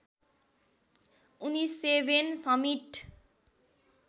उनी seven summit